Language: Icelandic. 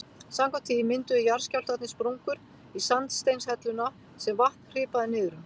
Samkvæmt því mynduðu jarðskjálftarnir sprungur í sandsteinshelluna sem vatn hripaði niður um